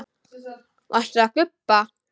Varstu að gubba?